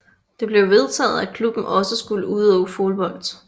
Det blev vedtaget at klubben også skulle udøve fodbold